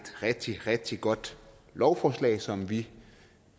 rigtig rigtig godt lovforslag som vi